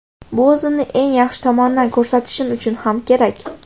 Bu o‘zimni eng yaxshi tomondan ko‘rsatishim uchun ham kerak.